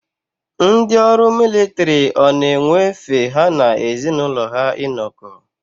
Ndị ọrụ militiri ọ na-enwe efe ha na ezi n'ụlọ ha inọkọ.